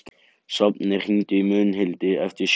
Sváfnir, hringdu í Mundhildi eftir sjö mínútur.